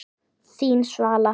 Þín Svala.